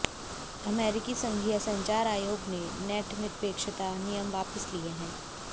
अमेरिकी संघीय संचार आयोग ने नेट निरपेक्षता नियम वापस लिए हैं